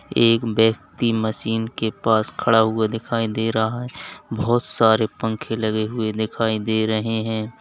एक व्यक्ति मशीन के पास खड़ा हुआ दिखाई दे रहा है बहुत सारे पंखे लगे हुए दिखाई दे रहे हैं।